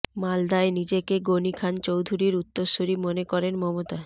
মালদায় নিজেকে গণি খান চৌধুরীর উত্তরসুরি মনে করেন মমতা